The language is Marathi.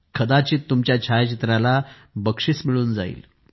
कदाचित तुमच्या छायाचित्राला बक्षीस मिळून जाईल